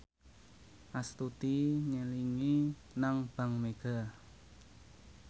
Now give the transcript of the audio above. Astuti nyelengi nang bank mega